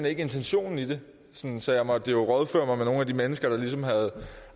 ikke intentionen i det så jeg måtte rådføre mig med nogle af de mennesker der ligesom har